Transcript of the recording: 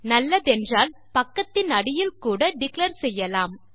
நல்லதென்றால் பக்கத்தின் அடியில் கூட டிக்ளேர் செய்யலாம்